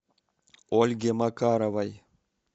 ольге макаровой